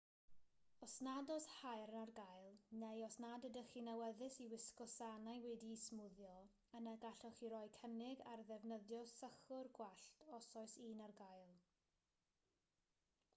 os nad oes haearn ar gael neu os nad ydych chi'n awyddus i wisgo sanau wedi'u smwddio yna gallwch chi roi cynnig ar ddefnyddio sychwr gwallt os oes un ar gael